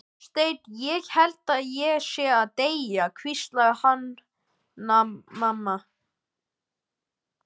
Gunnsteinn, ég held ég sé að deyja, hvíslaði Hanna-Mamma.